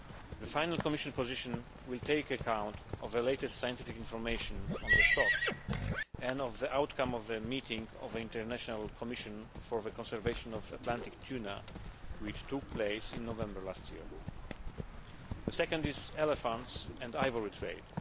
The final Commission position will take account of the latest scientific information on the stock and of the outcome of the meeting of the International Commission for the Conservation of Atlantic Tuna which took place in November last year. The second is elephants and the ivory trade.